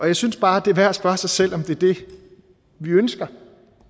jeg synes bare at det er værd at spørge sig selv om det er det vi ønsker